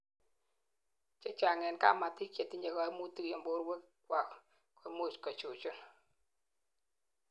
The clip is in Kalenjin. chechang en kamatik chetinyei kaimutik en borwek kwak koimuch kechuchun